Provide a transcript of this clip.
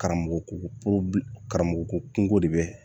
Karamɔgɔ karamɔgɔ ko kungoko de bɛ